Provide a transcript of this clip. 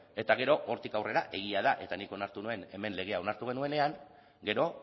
eta gero hortik aurrera egia da eta nik onartu nuen hemen legea onartu genuenean gero